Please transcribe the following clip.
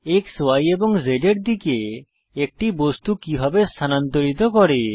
x Y এবং Z এর দিকে একটি বস্তু কিভাবে স্থানান্তরিত করি